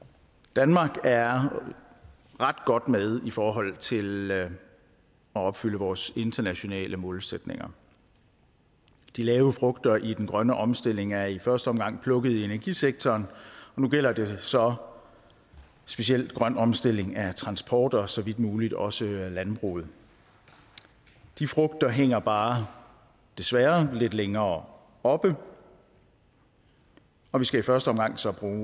danmark er ret godt med i forhold til at opfylde vores internationale målsætninger de lave frugter i den grønne omstilling er i første omgang plukket i energisektoren og nu gælder det så specielt grøn omstilling af transport og så vidt muligt også af landbruget de frugter hænger bare desværre lidt længere oppe og vi skal i første omgang så bruge